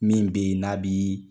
Min be yen n'a bi